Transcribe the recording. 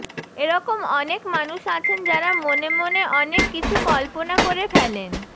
এরকম অনেক মানুষ আছেন যাঁরা মনে মনে অনেক কিছু কল্পনা করে ফেলেন